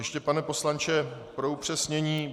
Ještě, pane poslanče, pro upřesnění.